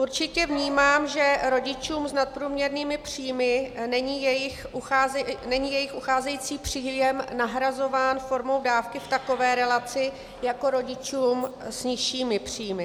Určitě vnímám, že rodičům s nadprůměrnými příjmy není jejich ucházející příjem nahrazován formou dávky v takové relaci jako rodičům s nižšími příjmy.